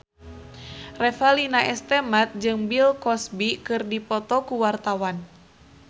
Revalina S. Temat jeung Bill Cosby keur dipoto ku wartawan